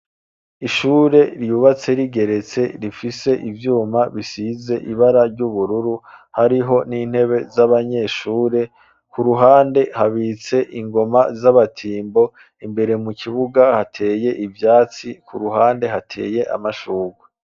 Ishure ryubatse rigeretse rifise ivyuma bisize ibara ry'ubururu hariho n'intebe z'abanyeshure, ku ruhande habitse ingoma z'abatimbo imbere mu kibuga hateye ivyatsi ku ruhande hateye amashurwe.